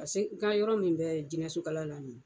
Pase i ka yɔrɔ min bɛ jinɛ sokala ni,